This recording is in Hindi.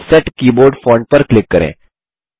सेट कीबोर्ड फोंट पर क्लिक करें